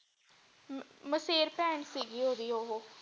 ਮਸੇਰ ਬਹਿਣ ਸੀਗੀ ਓਦੀ ਓਹੋ।